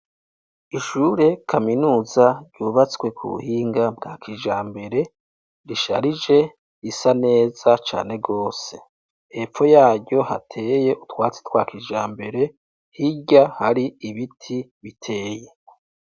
Ishure Kaminuza ryubatswe ku buhinga bwa kijambere, risharije, risa neza cane gose. Hepfo yaho hateye utwatsi twa kijambere, hirya yaho hari ibiti biteye.